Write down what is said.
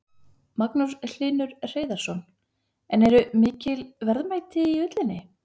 Magnús Hlynur Hreiðarsson: En eru mikil verðmæti í ullinni?